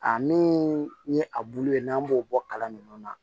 A min ye a bulu ye n'an b'o bɔ kalan nunnu na